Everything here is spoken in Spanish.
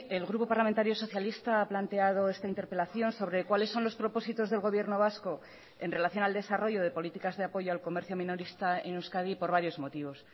el grupo parlamentario socialista ha planteado esta interpelación sobre cuáles son los propósitos del gobierno vasco en relación al desarrollo de políticas de apoyo al comercio minorista en euskadi por varios motivos